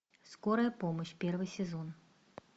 скорая помощь первый сезон